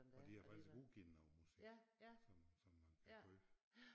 Og de har faktisk udgiven noget musik som som man kan købe